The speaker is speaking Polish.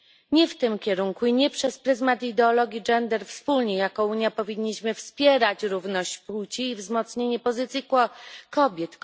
Nie w tym kierunku i nie przez pryzmat ideologii gender wspólnie jako Unia powinniśmy wspierać równość płci i wzmocnienie pozycji kobiet.